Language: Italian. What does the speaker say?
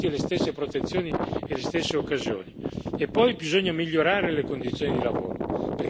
Poi bisogna migliorare le condizioni di lavoro, perché lavorando meglio le persone lavorano di più.